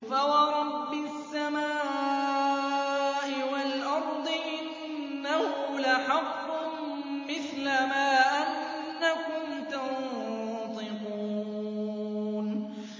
فَوَرَبِّ السَّمَاءِ وَالْأَرْضِ إِنَّهُ لَحَقٌّ مِّثْلَ مَا أَنَّكُمْ تَنطِقُونَ